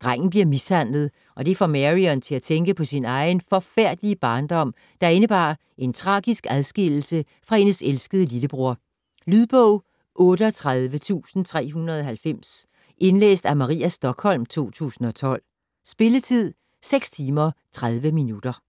Drengen bliver mishandlet og det får Marion til at tænke på sin egen forfærdelige barndom, der indebar en tragisk adskillelse fra hendes elskede lillebror. Lydbog 38390 Indlæst af Maria Stokholm, 2012. Spilletid: 6 timer, 30 minutter.